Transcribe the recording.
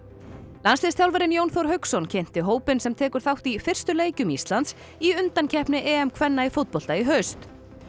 landsliðsþjálfarinn Jón Þór Hauksson kynnti hópinn sem tekur þátt í fyrstu leikjum Íslands í undankeppni kvenna í fótbolta í haust